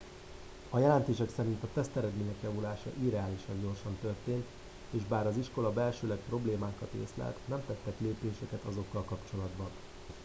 a jelentés szerint a teszteredmények javulása irreálisan gyorsan történt és bár az iskola belsőleg problémákat észlelt nem tettek lépéseket azokkal kapcsolatban